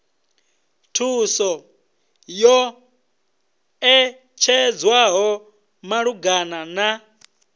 thuso yo ṋetshedzwaho malugana na